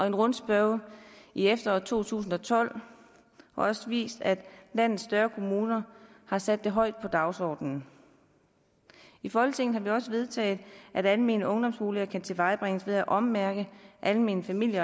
en rundspørge i efteråret to tusind og tolv har også vist at landets større kommuner har sat det højt på dagsordenen i folketinget har vi også vedtaget at almene ungdomsboliger kan tilvejebringes ved at ommærke almene familie